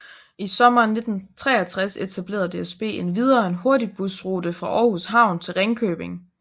I sommeren 1963 etablerede DSB endvidere en hurtigbusrute fra Aarhus Havn til Ringkøbing